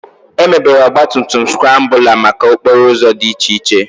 Emebere Ọgba tum tum skrambụla maka n'okporo ụzọ dị iche iche